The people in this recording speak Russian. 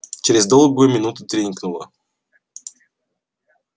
через долгую минуту тренькнуло